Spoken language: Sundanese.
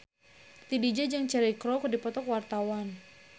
Titi DJ jeung Cheryl Crow keur dipoto ku wartawan